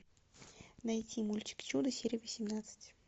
найти мультик чудо серия восемнадцать